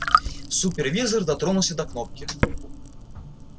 супервизор дотронулся до кнопки